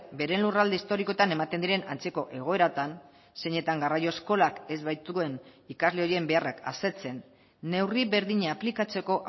bere lurralde historikoetan ematen diren antzeko egoeratan zeinetan garraio eskolak ez baituen ikasle horien beharrak asetzen neurri berdina aplikatzeko